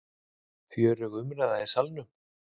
Fjörugur umræður í Salnum